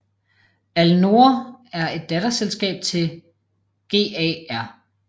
Alnoor er et datterselskab til GAR